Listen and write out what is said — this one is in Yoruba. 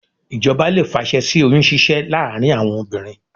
Ìjọba lè fàṣẹ sí oyún ṣíṣẹ́ láàárín àwọn obìnrin